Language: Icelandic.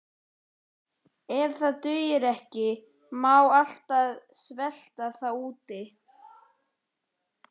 Ef það dugir ekki má alltaf svelta þá úti.